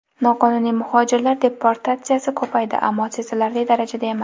Noqonuniy muhojirlar deportatsiyasi ko‘paydi, ammo sezilarli darajada emas.